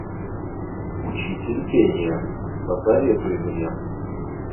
учитель пения посоветуй мне